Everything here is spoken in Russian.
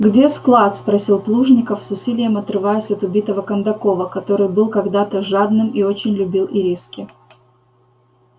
где склад спросил плужников с усилием отрываясь от убитого кондакова который был когда то жадным и очень любил ириски